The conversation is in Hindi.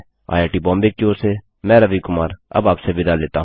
आईआईटी मुम्बई की ओर से मैं रवि कुमार अब आपसे विदा लेता हूँ